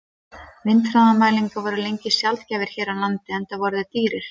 Vindhraðamælar voru lengi sjaldgæfir hér á landi, enda eru þeir dýrir.